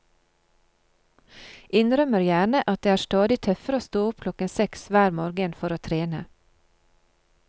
Innrømmer gjerne at det er stadig tøffere å stå opp klokken seks hver morgen for å trene.